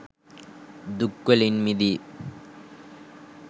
දුක් වලින් මිදී